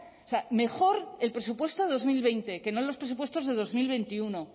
o sea mejor el presupuesto dos mil veinte que no los presupuestos de dos mil veintiuno